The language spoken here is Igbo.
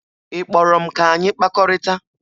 Ị kpọrọ m ka anyị kpakọrịta?